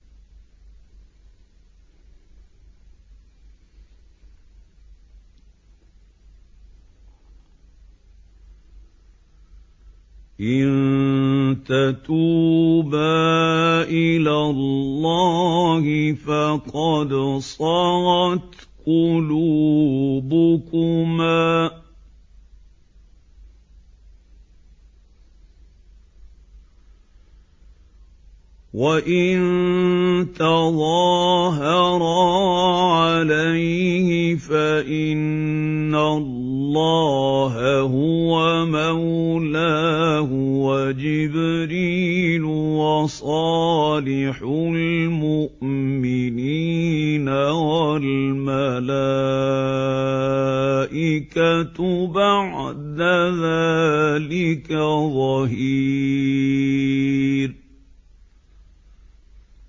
إِن تَتُوبَا إِلَى اللَّهِ فَقَدْ صَغَتْ قُلُوبُكُمَا ۖ وَإِن تَظَاهَرَا عَلَيْهِ فَإِنَّ اللَّهَ هُوَ مَوْلَاهُ وَجِبْرِيلُ وَصَالِحُ الْمُؤْمِنِينَ ۖ وَالْمَلَائِكَةُ بَعْدَ ذَٰلِكَ ظَهِيرٌ